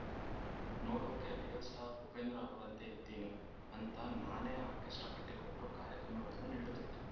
ನೋಡಕ್ಕೆ real star Upendra ಅವರಂತೆ ಇದ್ದೀನಿ ಅಂತ ನಾನೇ ಆರ್ಕೆಸ್ಟ್ರಾ ಕಟ್ಟಿಕೊಂಡು ಕಾರ್ಯಕ್ರಮಗಳನ್ನು ನೀಡುತ್ತಿದ್ದೆ